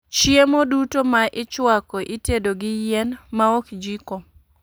Chiemo duto ma ichwako itedo gi yien , ma ok jiko